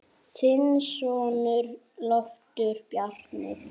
Þinn sonur, Loftur Bjarni.